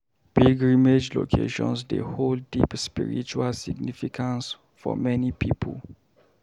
Pilgrimage locations dey hold deep spiritual significance for many people.